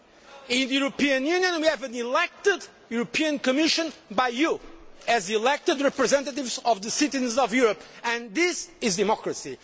In the European Union, we have a European Commission elected by you as the elected representatives of the citizens of Europe, and this is democracy.